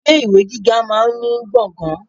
Ilé ìwé gíga máa ní gbọ̀ngàn.